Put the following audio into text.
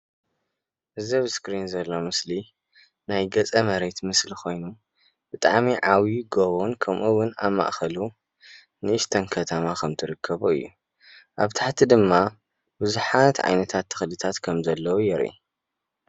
ገፀ መሬት ኮይኑ እምባን ከተማን ብሓደ ዘወቀቡ እዮም።